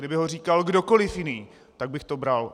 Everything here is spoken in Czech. Kdyby ho říkal kdokoliv jiný, tak bych to bral.